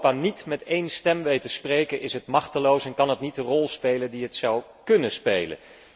Als Europa niet met één stem weet te spreken, is het machteloos en kan het niet de rol spelen die het zou kúnnen spelen.